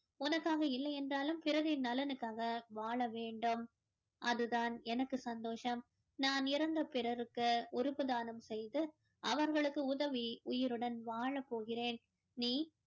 உனக்காக இல்லை என்றாலும் பிறரின் நலனுக்காக வாழ வேண்டும் அது தான் எனக்கு சந்தோஷம் நான் இறந்து பிறருக்கு உறுப்பு தானம் செய்து அவர்களுக்கு உதவி உயிருடன் வாழ போகிறேன் நீ